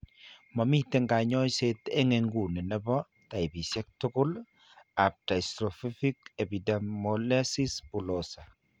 Momiten kanyoiseet eng nguni nebo taipisiek tugul ab dystrophic epidermolysis bullosa